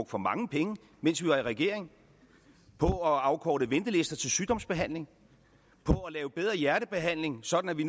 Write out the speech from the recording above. for mange penge mens vi var i regering på at afkorte ventelister til sygdomsbehandling på at lave bedre hjertebehandling sådan at vi